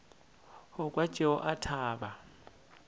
go kwa tšeo a thaba